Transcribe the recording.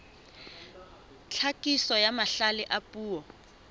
tlhakiso ya mahlale a puo